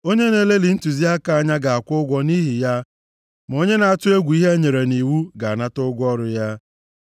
Onye na-elelị ntụziaka anya ga-akwụ ụgwọ nʼihi ya, ma onye na-atụ egwu ihe enyere nʼiwu ga-anata ụgwọ ọrụ ya.